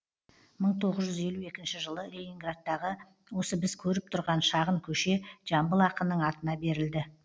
мың тоғыз жүз елу екінші жылы ленинградтағы осы біз көріп тұрған шағын көше жамбыл ақынның атына берілді